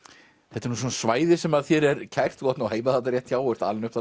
þetta er nú svæði sem þér er kært þú átt heima þarna rétt hjá og ert alinn upp